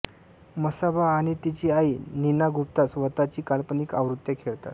मसाबा आणि तिची आई नीना गुप्ता स्वत ची काल्पनिक आवृत्त्या खेळतात